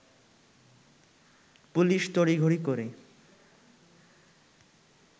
police তড়িঘড়ি করে